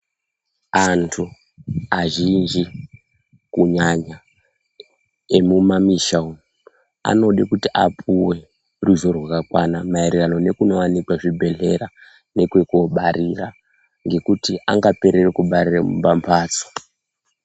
Antu azhinji kunyanya emu mamisha umu anode kuti apuwe ruzivo rwakakwana maererano neku wanekwe zvi bhedhlera nekweko barira ngekuti anga perere kubarire pa mbatso.